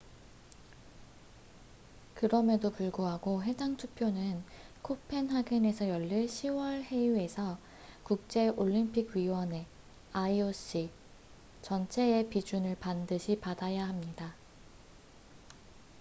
그럼에도 불구하고 해당 투표는 코펜하겐에서 열릴 10월 회의에서 국제올림픽위원회ioc 전체의 비준을 반드시 받아야 합니다